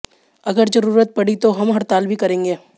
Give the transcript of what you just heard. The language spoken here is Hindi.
अगर जरूरत पड़ी तो हम हड़ताल भी करेंगे